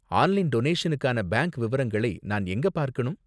Online டொனேஷனுக்கான bank விவரங்களை நான் எங்க பார்க்கணும்?